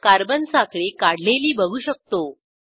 carbon साखळी काढलेली बघू शकतो